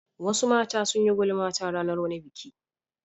Wasu mata sun yi gulma ta ranar wani biki.